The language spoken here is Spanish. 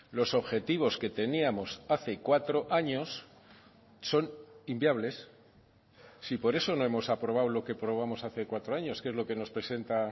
los objetivos que teníamos hace cuatro años son inviables si por eso no hemos aprobado lo que probamos hace cuatro años que es lo que nos presenta